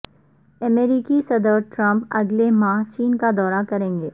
امریکی صدر ٹرمپ اگلے ماہ چین کا دورہ کریں گے